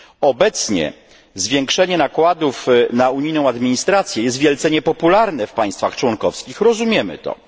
Obecnie zwiększenie nakładów na unijną administrację jest wielce niepopularne w państwach członkowskich rozumiemy to.